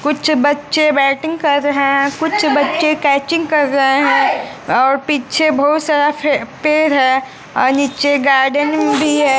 कुछ बच्चे बैटिंग कर रहे हैं कुछ बच्चे कैचिंग कर रहे हैं और पीछे बहुत सारा पेड़ है और नीचे गार्डन भी है।